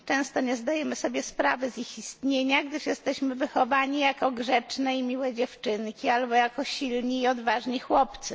Często nie zdajemy sobie sprawy z ich istnienia, gdyż jesteśmy wychowani jako grzeczne i miłe dziewczynki, albo jako silni i odważni chłopcy.